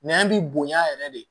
Nɛn bi bonya yɛrɛ de